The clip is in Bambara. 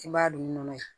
I b'a don nɔnɔ ye